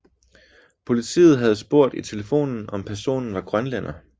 Politiet havde spurgt i telefonen om personen var grønlænder